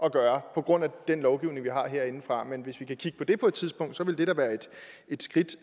at gøre på grund af den lovgivning vi har herindefra men hvis vi kan kigge på det på et tidspunkt ville det da være et skridt